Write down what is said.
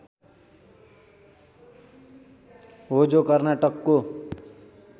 हो जो कर्नाटकको